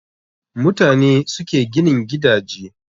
Mutane ne suke ginin gidaje